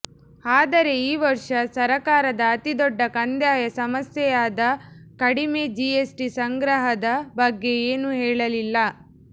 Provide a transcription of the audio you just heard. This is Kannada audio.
ಆದರೆ ಈ ವರ್ಷ ಸರಕಾರದ ಅತಿ ದೊಡ್ಡ ಕಂದಾಯ ಸಮಸ್ಯೆಯಾದ ಕಡಿಮೆ ಜಿಎಸ್ಟಿ ಸಂಗ್ರಹದ ಬಗ್ಗೆ ಏನೂ ಹೇಳಲಿಲ್ಲ